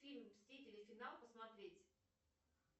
фильм мстители финал посмотреть